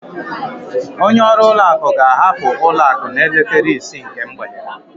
Onye ọrụ ụlọ akụ ga-ahapụ ụlọ akụ n'elekere isii nke mgbede.